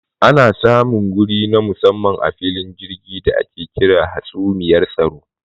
Ana samun wuri na musamman a filin jirgi da ake kira hatsumiyar tsaro.